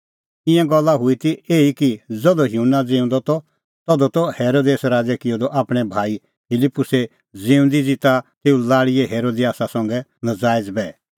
ईंयां गल्ला हुई ती एही कि ज़धू युहन्ना ज़िऊंदअ त ता हेरोदेस राज़ै किअ आपणैं भाई फिलिप्पुसे ज़िऊंदी ज़िता तेऊए लाल़ी हेरोदियासा संघै नज़ायज़ बैह